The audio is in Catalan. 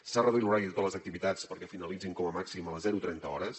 s’ha reduït l’horari de totes les activitats perquè finalitzin com a màxim a les trenta hores